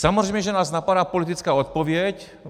Samozřejmě, že nás napadá politická odpověď.